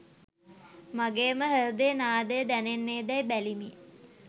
මගේම හෘදයේ නාදය දැනෙන්නේදැයි බැලිමි.